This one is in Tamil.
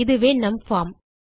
இதுவே நம் பார்ம்